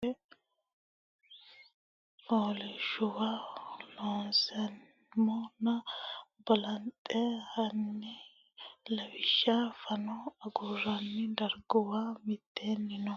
Techo kayinni hatte hedo kaima assi ne rosiishsha Woroonni shiqqino coy fooliishshuwa loonseemmona balanxe hanni lawishsha fano agurroonni darguwa mitteenni no.